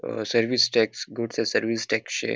A service tax goods and service tax शे.